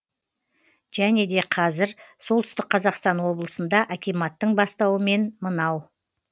және де қазір солтүстік қазақстан облысында акиматтың бастауымен мынау